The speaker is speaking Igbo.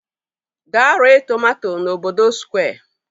Gaa ree tomato n'obodo Square!